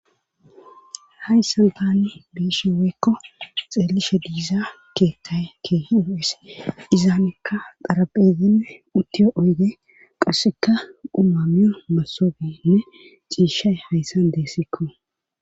hayssan taani biishe weykko xeelishe diiza keettay ke yuu7es izaanekka xaraphezinne uttiyo oyge qasseka umamiyo mesoobenne ciishay hayssan deessikko